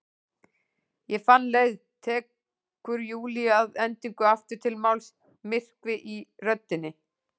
Ég fann leið, tekur Júlía að endingu aftur til máls, myrkvi í röddinni.